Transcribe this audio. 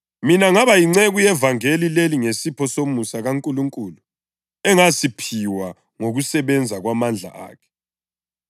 Mina ngaba yinceku yevangeli leli ngesipho somusa kaNkulunkulu engasiphiwa ngokusebenza kwamandla akhe.